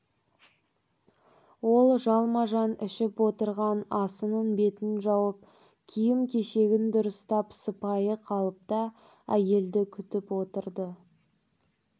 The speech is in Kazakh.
ол жалма-жан ішіп отырған асының бетін жауып киім-кешегін дұрыстап сыпайы қалыпта әйелді күтіп отырды